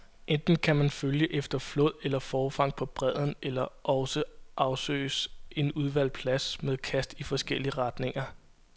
Enten kan man følge efter flåd eller forfang på bredden, eller også afsøges en udvalgt plads med kast i forskellige retninger.